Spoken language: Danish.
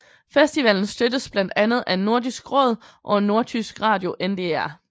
Festivalen støttes blandt andet af Nordisk Råd og nordtysk radio NDR